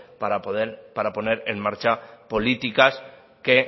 para poner en marcha políticas que